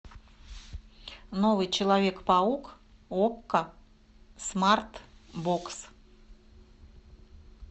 новый человек паук окко смарт бокс